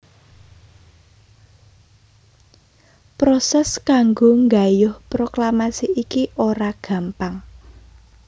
Prosès kanggo nggayuh proklamasi iki ora gampang